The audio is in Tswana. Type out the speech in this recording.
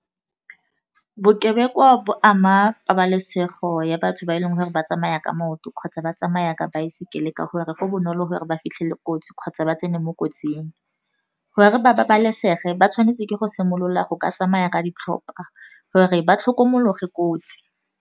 Bokebekwa bo ama pabalesego ya batho ba e leng gore ba tsamaya ka maoto kgotsa ba tsamaya ka baesekele, ka gore re go bonolo gore ba fitlhele kotsi kgotsa ba tsene mo kotsing. Gore babalesege ba tshwanetse ke go simolola go ka tsamaya ka ditlhopa gore ba tlhokomologe kotsi.